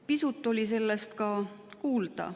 Pisut oli sellest ka kuulda.